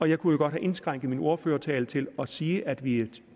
jeg kunne godt have indskrænket min ordførertale til at sige at vi